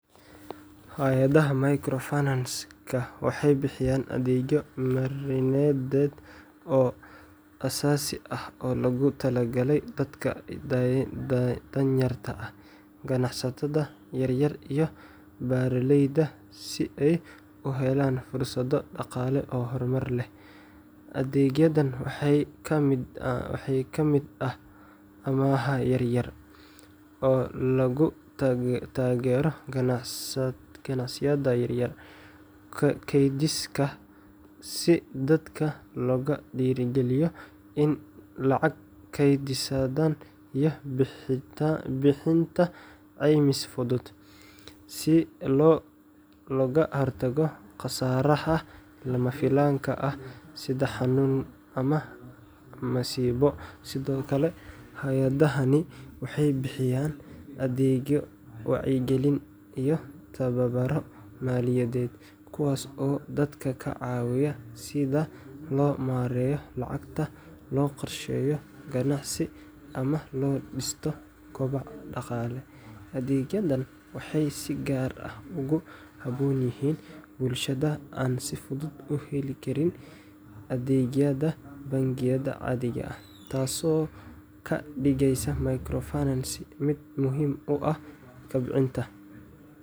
Hay’adaha microfinanceka waxay bixiyaan adeegyo marinadeed oo aasaasi ah oo loogu talagalay dadka danyarta ah, ganacsatada yaryar, iyo beeraleyda si ay u helaan fursado dhaqaale oo horumar leh. Adeegyadan waxaa ka mid ah amaah yar-yar oo lagu taageero ganacsiyada yaryar, kaydsiga si dadka loogu dhiirrigeliyo in ay lacag keydsadaan, iyo bixinta caymis fudud si looga hortago khasaaraha lama filaanka ah sida xanuun ama masiibo. Sidoo kale, hay’adahani waxay bixiyaan adeegyo wacyigelin iyo tababarro maaliyadeed, kuwaas oo dadka ka caawiya sida loo maareeyo lacagta, loo qorsheeyo ganacsi, ama loo dhisto koboc dhaqaale. Adeegyadan waxay si gaar ah ugu habboon yihiin bulshada aan si fudud u heli karin adeegyada bangiyada caadiga ah, taasoo ka dhigaysa microfinance mid muhiim u ah kobcinta.